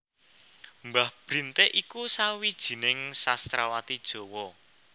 Mbah Brintik iku sawijining sastrawati Jawa